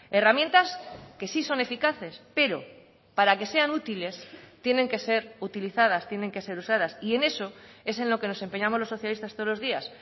herramientas que sí son eficaces pero para que sean útiles tienen que ser utilizadas tienen que ser usadas y en eso es en lo que nos empeñamos los socialistas todos los días